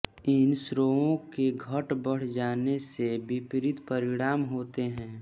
इन स्रावों के घट बढ़ जाने से विपरीत परिणाम होते हैं